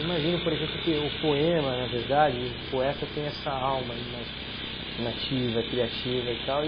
Imagino, por exemplo, que o poema, na verdade, o poeta tem essa alma aí mais imaginativa, criativa e tal.